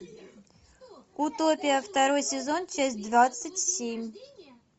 утопия второй сезон часть двадцать семь